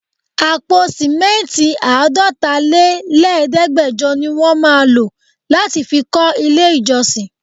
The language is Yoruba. Àpò simẹnti Àádọ́ta lé lẹ̀ẹ́dẹgbẹjọ ní wọ́n má lọ láti fi kó ilé ìjọsìn.